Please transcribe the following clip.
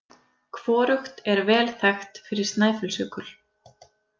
Hvorugt er vel þekkt fyrir Snæfellsjökul.